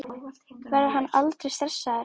Verður hann aldrei stressaður?